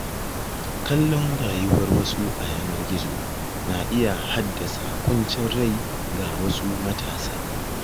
Kallon rayuwar wasu a yanar gizo na iya haddasa ƙuncin rai ga wasu matasa.